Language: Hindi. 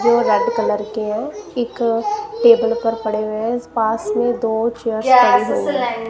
जो रेड कलर के हैं एक टेबल पर पड़े हुए पास में दो चेयर --